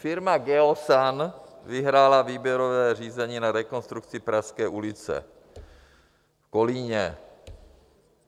Firma Geosan vyhrála výběrové řízení na rekonstrukci Pražské ulice v Kolíně.